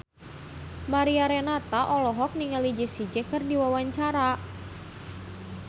Mariana Renata olohok ningali Jessie J keur diwawancara